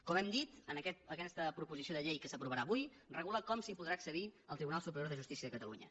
com hem dit aquesta proposició de llei que s’aprovarà avui regula com s’hi podrà accedir al tribunal superior de justícia de catalunya